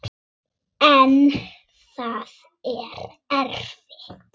En það er erfitt.